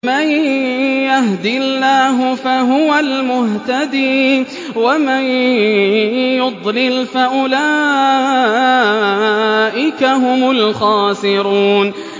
مَن يَهْدِ اللَّهُ فَهُوَ الْمُهْتَدِي ۖ وَمَن يُضْلِلْ فَأُولَٰئِكَ هُمُ الْخَاسِرُونَ